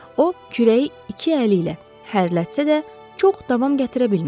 O, kürəyi iki əli ilə hər lətsə də, çox davam gətirə bilmədi.